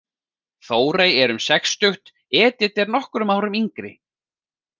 Þórey er um sextugt, Edit er nokkrum árum yngri.